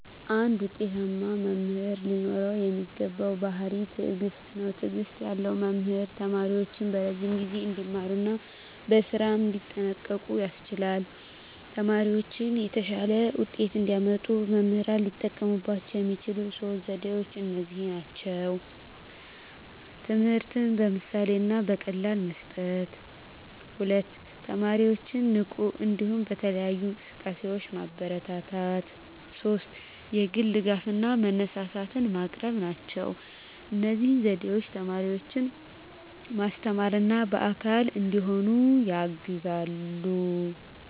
አንድ ውጤታማ መምህር ሊኖረው የሚገባው ባሕርይ ትዕግስት ነው። ትዕግስት ያለው መምህር ተማሪዎቹን በረዥም ጊዜ እንዲማሩ እና በስራም እንዲጠንቀቁ ያስችላል። ተማሪዎቻቸው የተሻለ ውጤት እንዲያመጡ መምህራን ሊጠቀሙባቸው የሚችሉት ሦስት ዘዴዎች እነዚህ ናቸው፦ ትምህርትን በምሳሌ እና በቀላል መስጠት፣ 2) ተማሪዎችን ንቁ እንዲሆኑ በተለያዩ እንቅስቃሴዎች ማበረታታት፣ 3) የግል ድጋፍ እና መነሳሳት ማቅረብ ናቸው። እነዚህ ዘዴዎች ተማሪዎችን ማስተማርና አካል እንዲሆኑ ያግዛሉ።